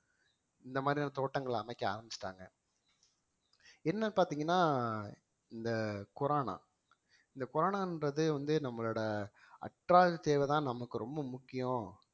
இந்த மாதிரியான தோட்டங்கள் அமைக்க ஆரம்பிச்சுட்டாங்க என்ன பாத்தீங்கன்னா இந்த கொரோனா இந்த இந்த கொரோனான்றது வந்து நம்மளோட தேவைதான் நமக்கு ரொம்ப முக்கியம்